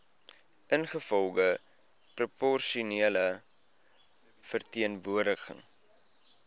ingevolge proporsionele verteenwoordiging